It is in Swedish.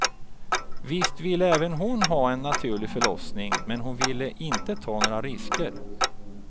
Visst ville även hon ha en naturlig förlossning, men hon ville inte ta några risker.